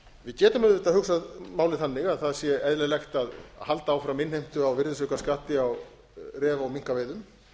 við getum auðvitað hugsað málið þannig að það sé eðlilegt að halda áfram innheimtu á virðisaukaskatti á refa og minkaveiðum